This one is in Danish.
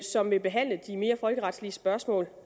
som vil behandle de mere folkeretlige spørgsmål